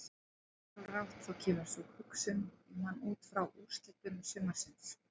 Ósjálfrátt þá kemur sú hugsun í mann útfrá úrslitum sumarsins.